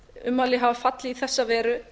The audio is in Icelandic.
ummæli hafa fallið í þessa veru